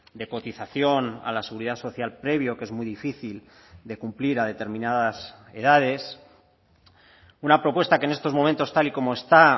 de cotización a la seguridad social previo que es muy difícil de cumplir a determinadas edades una propuesta que en estos momentos tal y como está